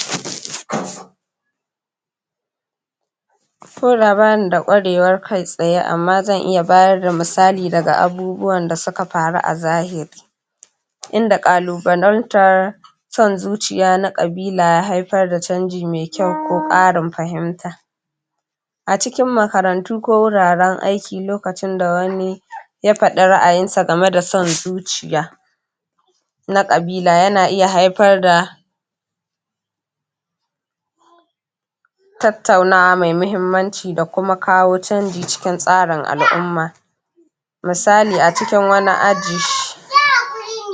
??? ko da bani da ƙwarewar kai tsaye amma zan iya bayar da misalin da abubuwan da suka faru a zahiri inda ƙalubalantar son zuciya na ƙabila ya haifar da canji mai kyau ko ƙarin fahimta a cikin makarantu ko wuraren aiki lokacin da wani ya faɗi ra'ayinsa game da wani son zuciya na ƙabila yana iya haifar da tattaunawa mai muhimmaci da kuma kawo canji cikin tsarin al'umma misali a cikin wani aji??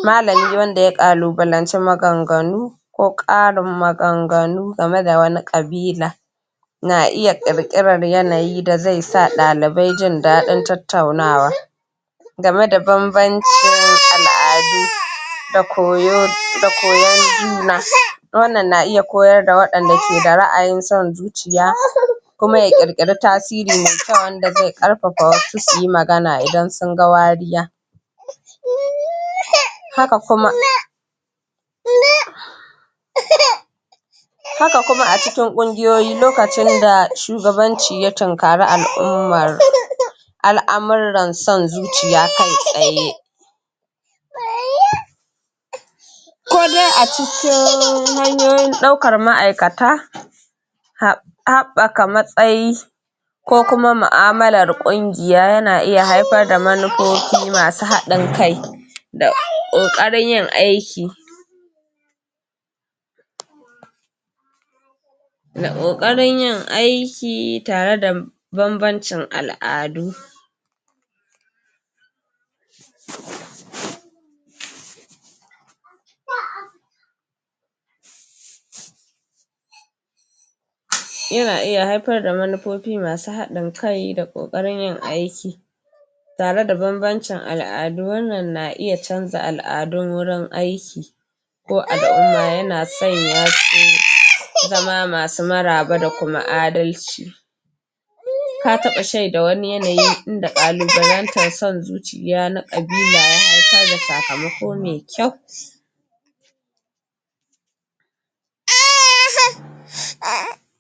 malami wanda ya ƙalubalanci maganganu ko ƙarin maganganu game da wani ƙabila na iya ƙirƙirar yanayi da zai sa ɗalibai jin daɗin tattaunawa game da bambancin al'adu da koyon juna wannnan na iya koyar da waɗanda ke da ra'ayin son zuciya kuma ya ƙirƙiri tasiri mai kyau wanda zai ƙarfafa wasu suyi magana idan sun ga wariya haka kuma?? haka kuma a cikin ƙungiyoyi lokacin da shugabanci ya tunkari al'ummar al'amuran son zuciya kai tsaye?? ko dai a cikin hanyoyin ɗaukar ma'aikata haɓɓaka matsayi ko kuma mu'amalar ƙungiya yana iya haifar da manufofi masu haɗin kai da ƙoƙarin yin aiki da ƙoƙarin yin aiki tare da bambancin al'adu????? yana iya haifar da manufofi masu haɗin kai da ƙoƙarin yin aiki tare da bambancin al'adu wannan na iya canza al'adun wurin aiki ko al'umma yana sanya wasu zama maraba da kuma adalci ka taɓa shaida wani yanayi inda ƙalubalantar son zuciya na ƙabila ya haifar da sakamako mai kyau????